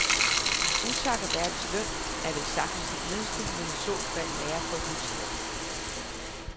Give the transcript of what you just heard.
Utak er verdens løn, er vel sagtens det eneste, man i så fald lærer på et nyt sprog.